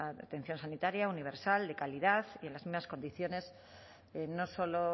atención sanitaria universal de calidad y en las mismas condiciones no solo